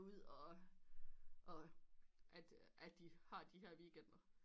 Ud og og at at de har de her weekender